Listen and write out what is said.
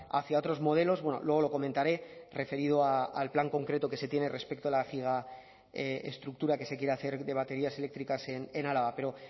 hacia otros modelos luego lo comentaré referido al plan concreto que se tiene respecto a la gigaestructura que se quiere hacer de baterías eléctricas en álava pero